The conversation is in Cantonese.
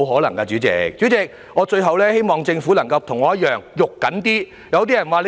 代理主席，最後我希望政府能夠像我一樣着緊一點。